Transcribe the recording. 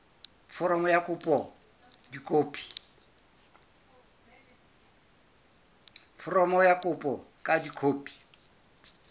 foromo ya kopo ka dikopi